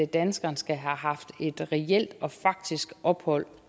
danskeren skal have haft et reelt og faktisk ophold